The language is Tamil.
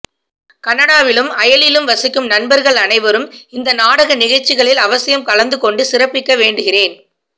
கனடாவிலும் அயலிலும் வசிக்கும் நண்பர்கள் அனைவரும் இந்த நாடகநிகழ்வுகளில் அவசியம் கலந்து கொண்டு சிறப்பிக்க வேண்டுகிறேன்